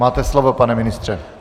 Máte slovo, pane ministře.